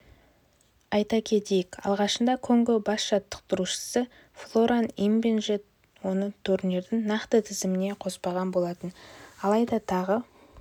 айта кетейік алғашында конго бас жаттықтырушысы флоран ибенже оны турнирдің нақты тізіміне қоспаған болатын алайда тағы